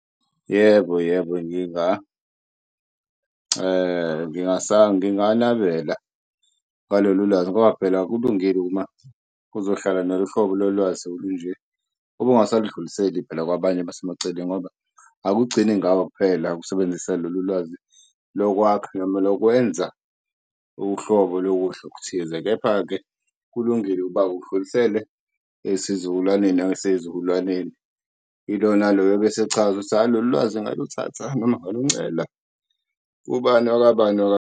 Yebo, yebo, nginganabela ngalolo lwazi ngoba phela akulungile uma uzohlala nalohlobo lolwazi olunje ube ungasalidluliseli phela kwabanye abasemaceleni ngoba akugcini ngawe kuphela ukusebenzisa lolu lwazi lokwakha noma lokwenza uhlobo lokudla okuthize. Kepha-ke, kulungile ukuba udlulisele esizukulwaneni noma ezizukulwaneni ilo naloyo obesechaza ukuthi lolwazi ngaluthatha noma ngaluncela kubani wakwabani .